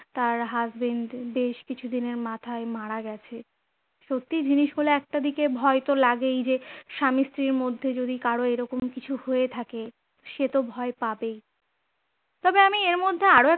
তার husband বেশ কিছু দিনের মাথায় মারা গেছে সত্যই জিনিসগুলো একটা দিকে ভয় তো লাগেই যে স্বামী-স্ত্রীর মধ্যে যদি কারর এরকম কিছু হয়ে থাকে সেতো ভয় পাবেই তবে আমি এর মধ্যে আরো একটা